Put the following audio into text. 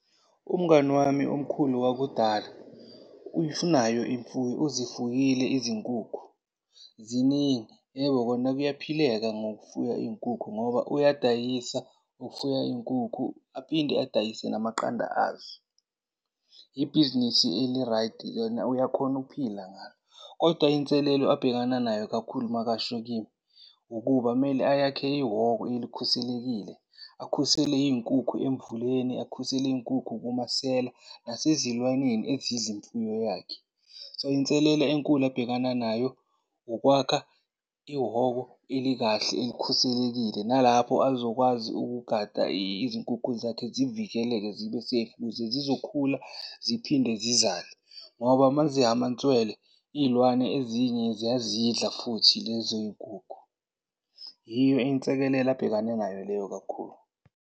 Umngani wami omkhulu wakudala unayo imfuyo, uzifuyile izinkukhu ziningi. Yebo kona kuyaphileka ngokufuya iy'nkukhu ngoba uyadayisa, ufuya iy'nkukhu aphinde adayise namaqanda azo. Yibhizinisi elirayidi lona, uyakhona ukuphila ngalo. Koda inselelo abhekana nayo kakhulu makasho kimi ukuba kumele ayakhe ihhoko elikhuselekile. Akhusele iy'nkukhu emvuleni, akhusele iy'nkukhu kumasela nasezilwaneni ezidla imfuyo yakhe. So, inselelo enkulu abhekana nayo ukwakha ihhoko elikahle elikhuselekile, nalapho azokwazi ukugada izinkukhu zakhe zivikeleke, zibe-safe ukuze zizokhula ziphinde zizale. Ngoba uma zihhamantswele, iy'lwane ezinye ziyazidla futhi lezo y'nkukhu. Yiyo abhekane nayo leyo kakhulu.